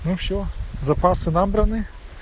ну всё запасы набраны